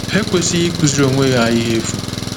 Ha ekwesịghị ịkụziri onwe ha ihe efu.